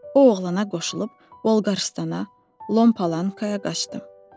O oğlana qoşulub Volqarıstana, Lampalankaya qaçdı.